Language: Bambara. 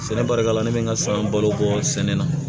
Sɛnɛ barika la ne bɛ n ka san balo bɔ sɛnɛ na